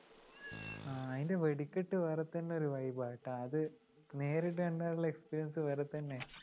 c അതിൻ്റെ വെടിക്കെട്ട് വേറെ തന്നെ ഒരു vibe ഏട്ടോ അത് നേരിട്ട് കണ്ടാലുള്ള experience വേറെതന്നെ